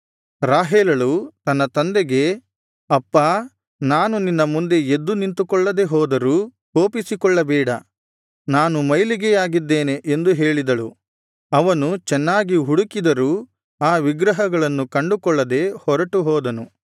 ರಾಹೇಲಳು ತನ್ನ ತಂದೆಗೆ ಅಪ್ಪಾ ನಾನು ನಿನ್ನ ಮುಂದೆ ಎದ್ದು ನಿಂತುಕೊಳ್ಳದೆ ಹೋದರೂ ಕೋಪಿಸಿಕೊಳ್ಳಬೇಡ ನಾನು ಮೈಲಿಗೆಯಾಗಿದ್ದೇನೆ ಎಂದು ಹೇಳಿದಳು ಅವನು ಚೆನ್ನಾಗಿ ಹುಡುಕಿದರೂ ಆ ವಿಗ್ರಹಗಳನ್ನು ಕಂಡುಕೊಳ್ಳದೆ ಹೊರಟು ಹೋದನು